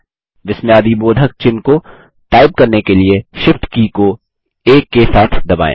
विस्मयादिबोधक चिह्न को टाइप करने के लिए Shift की को 1 के साथ दबाएँ